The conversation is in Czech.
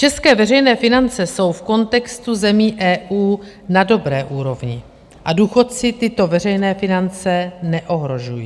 České veřejné finance jsou v kontextu zemí EU na dobré úrovni a důchodci tyto veřejné finance neohrožují.